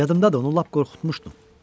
Yadımdadır, onu lap qorxutmuşdum.